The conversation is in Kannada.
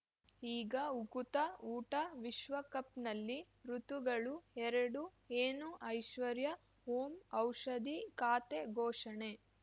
ಈಗ ಉಕುತ ಊಟ ವಿಶ್ವಕಪ್‌ನಲ್ಲಿ ಋತುಗಳು ಎರಡು ಏನು ಐಶ್ವರ್ಯಾ ಓಂ ಔಷಧಿ ಖಾತೆ ಘೋಷಣೆ